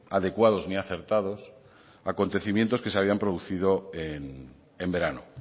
adecuados ni acertados que se habían producido en verano